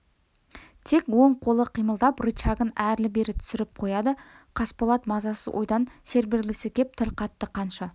тек оң қолы қимылдап рычагін әрлі-берлі түсіріп қояды қасболат мазасыз ойдан серпілгісі кеп тіл қатты қанша